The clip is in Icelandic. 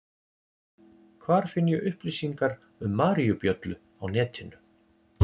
Hvar finn ég upplýsingar um maríubjöllu á netinu?